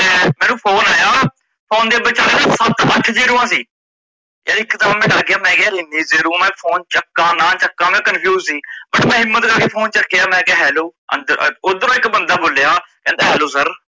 ਮੈਂਨੂੰ phone ਆਇਆ phone ਵਿਚਲੇ ਨਾਂ ਸੱਤ ਆਠ ਜੀਰੋਆ ਸੀ, ਯਾਰ ਇੱਕ ਵਾਰ ਤਾਂ ਮੈ ਡਰ ਗਿਆ ਮੈਕਹਿਆ ਇਨੀ zero ਮੈ phone ਚੱਕਾ ਨਾਂ ਚੱਕਾ ਮੈ confused ਸੀ but ਮੈ ਹਿਮੰਤ ਕਰਕੇ phone ਚੱਕਿਆ ਮੈਕਿਆ hello ਓਦਰੋ ਇੱਕ ਬੰਦ ਬੋਲਿਆ ਕਹਿੰਦਾ hello sir